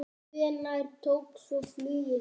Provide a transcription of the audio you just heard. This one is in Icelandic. Hvenær tók svo flugið við?